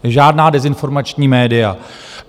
Žádná dezinformační média.